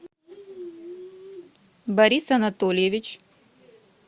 борис анатольевич